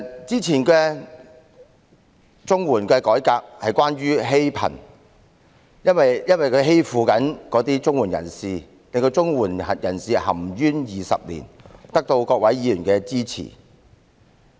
之前綜合社會保障援助計劃的改革是關於"欺貧"，因為綜援計劃欺負綜援人士，令他們含冤20年，有關改革得到各位議員的支持。